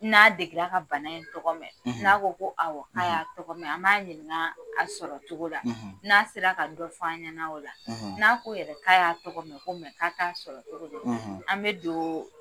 N'a dege la ka bana in tɔgɔ mɛn n'a ko ko awɔ k'a y'a tɔgɔ mɛn an b'a ɲininka a sɔrɔ cogo la n'a sera ka dɔ fɔ an ɲɛna o la n'a ko yɛrɛ k'a y'a tɔgɔ mɛn ko k'a t'a sɔrɔ cogo dɔn an bɛ don